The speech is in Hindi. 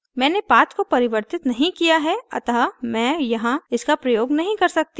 मैंने path को परिवर्तित नहीं किया है अतः मैं यहाँ इसका प्रयोग नहीं कर सकती हूँ